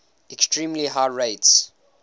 extremely high rates